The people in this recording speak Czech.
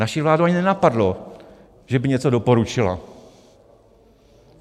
Naši vládu ani nenapadlo, že by něco doporučila.